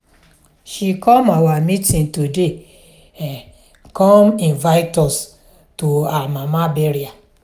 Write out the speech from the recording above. she come our meeting today um come invite us to her mama burial.